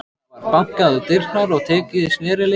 Það var bankað á dyrnar og tekið í snerilinn.